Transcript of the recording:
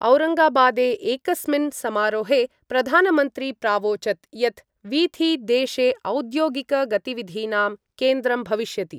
औरंगाबादे एकस्मिन् समारोहे प्रधानमंत्री प्रावोचत् यत् वीथि देशे औद्योगिकगतिविधीनां केन्द्रं भविष्यति।